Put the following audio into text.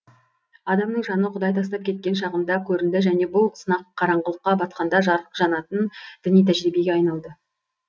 адамның жаны құдай тастап кеткен шағында көрінді және бұл сынақ қараңғылыққа батқанда жарық жанатын діни тәжірибеге айналды